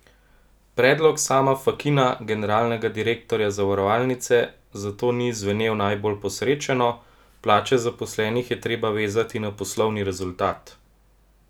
Predlog Sama Fakina, generalnega direktorja zavarovalnice, zato ni zvenel najbolj posrečeno: "Plače zaposlenih je treba vezati na poslovni rezultat.